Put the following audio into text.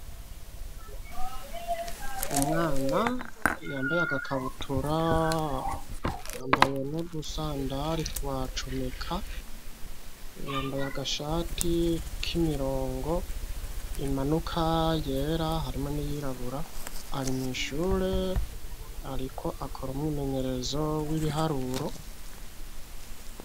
Umwana yambaye agakabutura ,yambaye n'udusandare twa comeka, yambaye agashati kimirongo imanuka yera, hamwe niyirabura ari mw'ishure ariko akora umwimenyerezo w'ibiharuro,